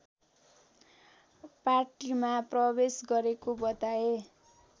पार्टीमा प्रवेश गरेको बताए